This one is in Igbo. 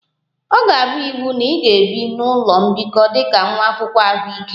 Ọ ga-abụ iwu na ị ga-ebi n'ụlọ mbikọ dị ka nwa akwụkwọ ahụike